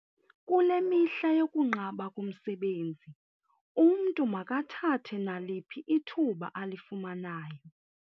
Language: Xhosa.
Kule mihla yokunqaba komsebenzi umntu makathathe naliphi ithuba alifumanayo.